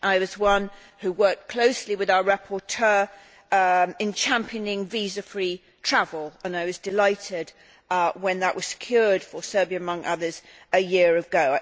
I worked closely with our rapporteur in championing visa free travel and I was delighted when that was secured for Serbia, among others, a year ago.